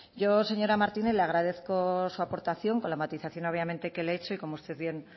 yo señora martínez le agradezco su aportación con la matización obviamente que le he hecho y como usted bien